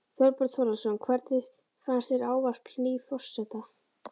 Þorbjörn Þórðarson: Hvernig fannst þér ávarp nýs forseta?